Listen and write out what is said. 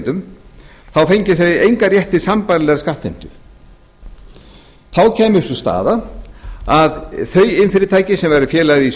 af iðnrekendum fengju þeir engan rétt til sambærilegrar skattheimtu þá kæmi upp sú staða að þau iðnfyrirtæki sem væru félagar í þessum